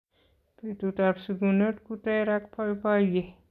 Betutap sikunet ku ter ak boiboiye.